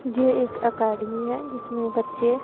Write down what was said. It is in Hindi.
ये एक एकाडमी है जिसमें बच्चे--